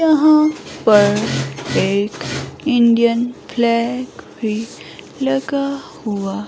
यहाँ पर एक इंडियन फ्लैग भी लगा हुआ--